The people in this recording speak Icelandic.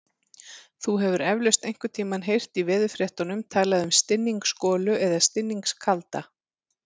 Þú hefur eflaust einhvern tímann heyrt í veðurfréttum talað um stinningsgolu eða stinningskalda.